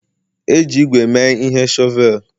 E ji ígwè mee ihe shọvel